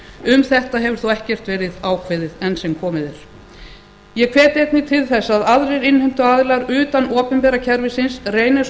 um þetta hefur þó ekkert verið ákveðið enn sem komið er ég hvet einnig til þess að aðrir innheimtuaðilar utan opinbera kerfisins reyni eins